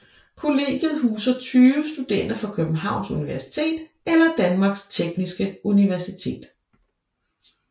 Kollegiet huser 20 studerende fra Københavns Universitet eller Danmarks Tekniske Universitet